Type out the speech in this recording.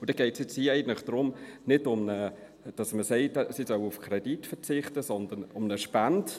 Dann geht es hier eigentlich nicht darum, dass man sagt, sie sollen auf den Kredit verzichten, sondern um eine Spende.